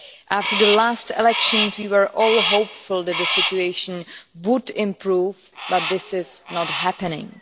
After the last elections we were all hopeful that the situation would improve, but this is not happening.